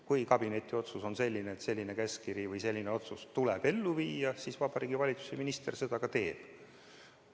Kui kabineti otsus on selline, et selline otsus tuleb ellu viia, siis Vabariigi Valitsuse minister seda ka teeb.